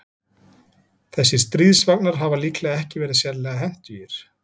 Þessir stríðsvagnar hafa líklega ekki verið sérlega hentugir.